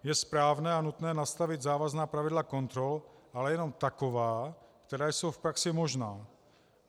Je správné a nutné nastavit závazná pravidla kontrol, ale jenom taková, která jsou v praxi možná.